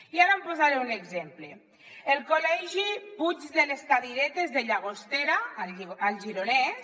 i ara en posaré un exemple el col·legi puig de les cadiretes de llagostera al gironès